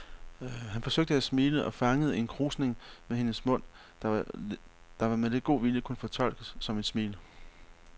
Han forsøgte at smile og fangede en krusning ved hendes mund, der med lidt god vilje kunne fortolkes som et smil.